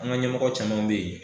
An ga ɲɛmɔgɔ caman be yen